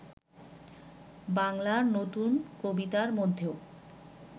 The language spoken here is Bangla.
বাংলার নতুন কবিতার মধ্যেও